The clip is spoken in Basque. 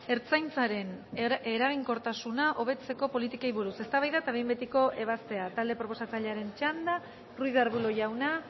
ertzaintzaren eraginkortasuna hobetzeko politikei buruz eztabaida eta behin betiko ebazpena talde proposatzailearen txanda ruiz de arbulo jauna